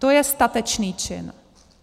To je statečný čin.